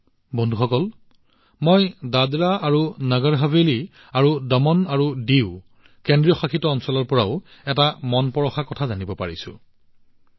বন্ধুসকল মই দাদৰা আৰু নগৰ হাভেলী আৰু দমন আৰু ডিউ কেন্দ্ৰীয়শাসিত অঞ্চলৰ পৰাও এটা উদাহৰণ জানিব পাৰিছো যিয়ে মনক স্পৰ্শ কৰিছে